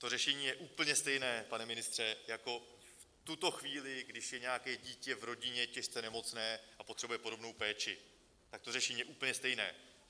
To řešení je úplně stejné, pane ministře, jako v tuto chvíli, když je nějaké dítě v rodině těžce nemocné a potřebuje podobnou péči, tak to řešení je úplně stejné.